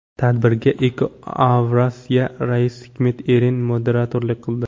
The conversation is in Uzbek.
Tadbirga EcoAvrasya raisi Hikmet Eren moderatorlik qildi.